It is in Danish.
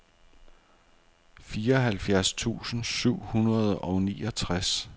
fireoghalvtreds tusind syv hundrede og niogtres